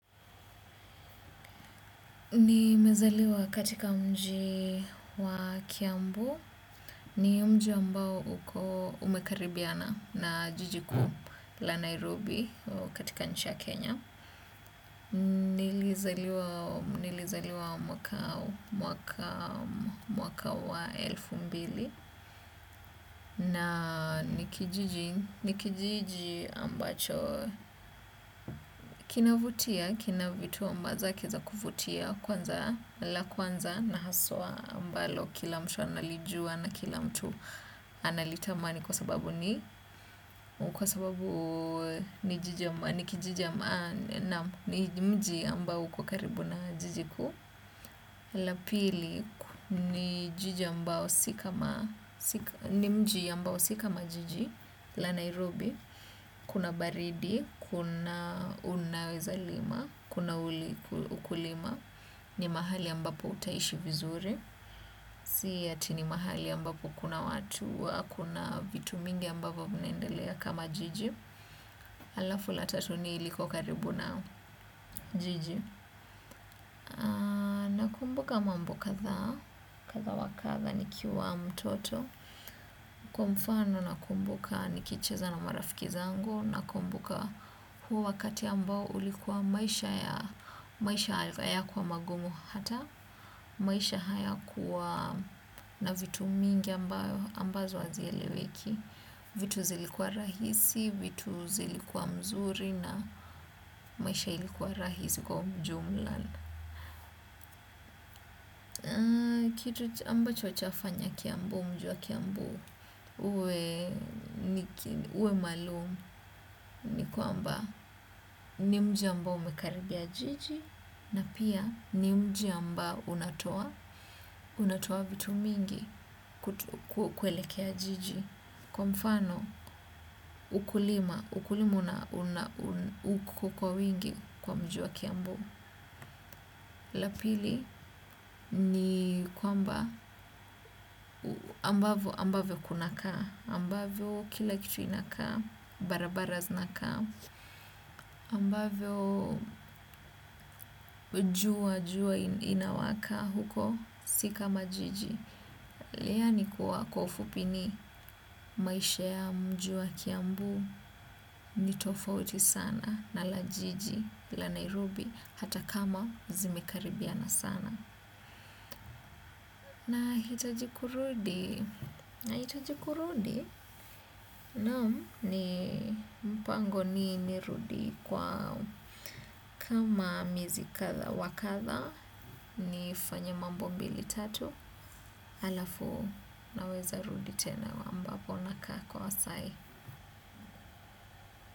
Ni mezaliwa katika mji wa Kiambu. Ni mji wa mbao umekaribiana na jijiku la Nairobi katika nchi ya Kenya. Nilizaliwa mwaka wa elfu mbili na ni kijiji ambacho kinavutia, kinavitu ambaza kiza kuvutia. Kwanza, la kwanza na haswa ambalo kila mtu analijua na kila mtu analitamani. Kwa sababu ni mji ambao uko karibu na jiji kuu. La pili ni mji ambao si kama jiji la Nairobi, kuna baridi, kuna unaweza lima, kuna uli ukulima, ni mahali ambapo utaishi vizuri, siyati ni mahali ambapo kuna watu, kuna vitu mingi ambapo mnaendelea kama jiji. Alafu la tatu ni ilikuwa karibu na jiji. Kumbuka mambo katha, katha wakatha ni kiwa mtoto. Kwa mfano na kumbuka ni kicheza na marafiki zangu na kumbuka huo wakati ambao ulikuwa maisha ya, maisha haya kwa magumu hata, maisha haya kwa na vitu mingi ambazo azieleweki. Vitu zilikuwa rahisi, vitu zilikuwa mzuri na maisha ilikuwa rahisi kwa mjumlana. Kitu ambacho cha fanya kiambu, mju wa kiambu, ue malumu ni kwa amba ni mjia ambao umekaribia jiji na pia ni mjia amba unatoa, unatoa vitu mingi kuelekea jiji. Kwa mfano ukulima, ukulima unakokua wingi kwa mji a kiambu. Lapili ni kwamba ambavyo kuna kaa, ambavyo kila kitu inakaa, barabaras inakaa, ambavyo jua inawaka huko si kama jiji Leani kuwa kwa ufupi ni maisha ya mji wa kiambu ni tofauti sana na lajiji la Nairobi hata kama zimekaribiana sana. Nahitaji kurudi? Nahitaji kurudi? Na ni mpango ni nirudi kwa kama miezi kadha wa kadha nifanye mambo mbili tatu alafu naweza rudi tena ambapo nakaa kwa sai.